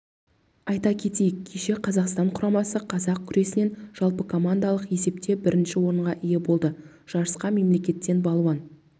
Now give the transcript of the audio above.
айта кетейік кеше қазақстан құрамасы қазақ күресінен жалпыкомандалық есепте бірінші орынға ие болды жарысқа мемлекеттен балуан